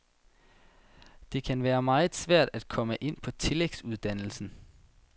Det kan være meget svært at komme ind på tillægsuddannelsen.